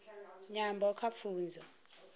nyambo kha pfunzo